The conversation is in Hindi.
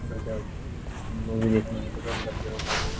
गजब तुमलोग देखने में गजब लग रहे हो बाबू।